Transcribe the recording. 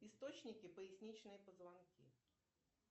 источники поясничные позвонки